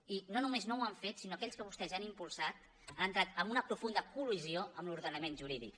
i no només no ho han fet sinó que aquells que vostès han impulsat han entrat en una profunda colment jurídic